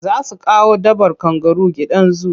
Za su kawo dabbar kangaru gidan zu.